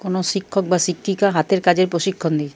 কোনো শিক্ষক বা শিক্ষিকা হাতের কাজের প্রশিক্ষণ দি--